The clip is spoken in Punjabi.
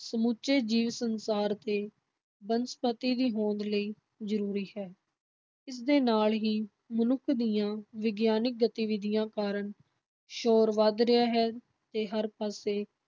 ਸਮੁੱਚੇ ਜੀਵ-ਸੰਸਾਰ ਤੇ ਬਨਸਪਤੀ ਦੀ ਹੋਂਦ ਲਈ ਜ਼ਰੂਰੀ ਹੈ, ਇਸਦੇ ਨਾਲ ਹੀ ਮਨੁੱਖ ਦੀਆਂ ਵਿਗਿਆਨਿਕ ਗਤੀਵਿਧੀਆਂ ਕਾਰਨ ਸ਼ੋਰ ਵੱਧ ਰਿਹਾ ਹੈ ਤੇ ਹਰ ਪਾਸੇ